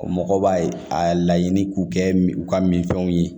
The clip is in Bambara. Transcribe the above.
Mɔgɔw b'a a laɲini k'u kɛ u ka minfɛnw ye